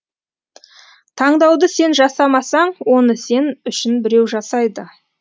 таңдауды сен жасамасаң оны сен үшін біреу жасайды